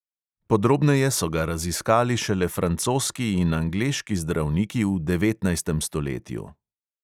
Podrobneje so ga raziskali šele francoski in angleški zdravniki v devetnajstem stoletju.